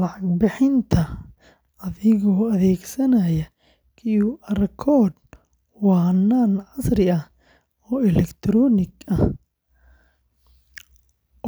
Lacag bixinta adigoo adeegsanaya QR code waa hannaan casri ah oo elektaroonig ah